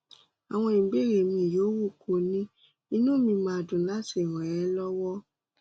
àwọn ìbéèrè míì yòówù kó o ní inú mi máa dùn láti ràn é lọwọ